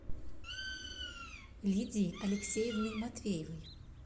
лидии алексеевны матвеевой